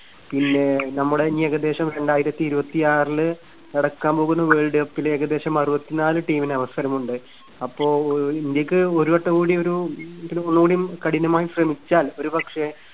പിന്നെ നമ്മുടെ ഇനി ഏകദേശം രണ്ടായിരത്തിയിരുപത്തിയാറില് നടക്കാൻ പോകുന്ന വേൾഡ് കപ്പില് ഏകദേശം അറുപത്തിനാല് team ന് അവസരമുണ്ട്. അപ്പോ ഇന്ത്യക്ക് ഒരുവട്ടം കൂടി ഒരു ഒന്നുകൂടിഒന്ന് കഠിനമായി ശ്രമിച്ചാൽ ഒരുപക്ഷേ